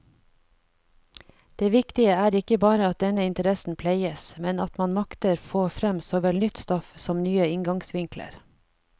Det viktige er ikke bare at denne interessen pleies, men at man makter få frem såvel nytt stoff som nye inngangsvinkler.